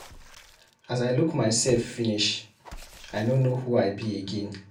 As I look myself finish, I no know who I be again.